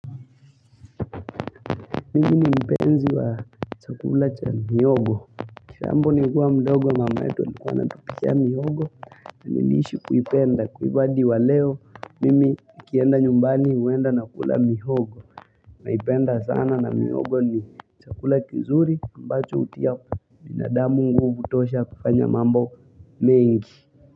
Mimi ni mpenzi wa chakula cha mihogo kitambo nilikuwa mdogo ya mama yetu alikuwa anatupikia mihogo na niliishi kuipenda kwa hivyo hadi wa leo Mimi nikienda nyumbani huenda nakula mihogo naipenda sana na mihogo ni chakula kizuri ambacho hutia binadamu nguvu kutosha kufanya mambo mengi.